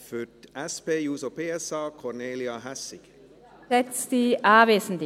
Für die SP-JUSO-PSA-Fraktion hat Kornelia Hässig das Wort.